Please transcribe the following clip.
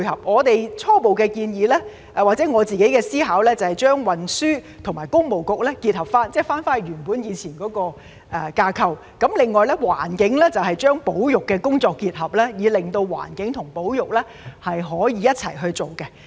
我們初步的建議或我自己的構思是把主管運輸和工務的政策局結合，即回復以往原本的架構；另外，在環境方面，則把保育的工作與之結合，令到環境和保育可以一起處理。